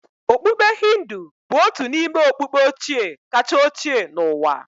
Okpukpe Hindu bụ otu n'ime okpukpe ochie kacha ochie n'ụwa